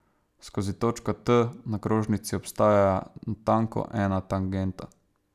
Skozi točko T na krožnici obstaja natanko ena tangenta.